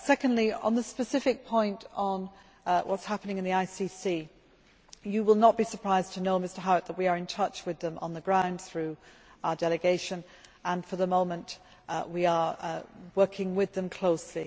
Thirdly, on the specific point on what is happening in regard to the ICC you will not be surprised to know, Mr Howitt, that we are in touch with them on the ground through our delegation and for the moment we are working with them closely.